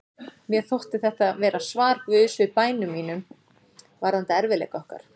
Mér þótti þetta vera svar Guðs við bænum mínum varðandi erfiðleika okkar.